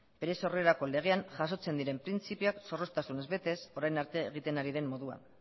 bere sorrerako legean jasotzen diren printzipioak zorroztasunez betez orain arte egiten ari den moduan